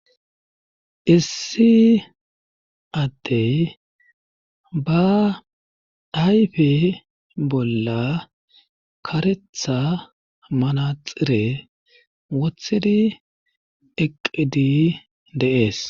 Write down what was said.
Issi attey ba ayfe bolla karetha manaxire wothidi eqqidi de7ees.